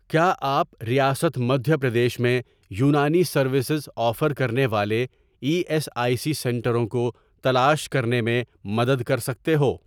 کیا آپ ریاست مدھیہ پردیش میں یونانی سروسز آفر کرنے والے ای ایس آئی سی سنٹروں کو تلاش کرنے میں مدد کر سکتے ہو؟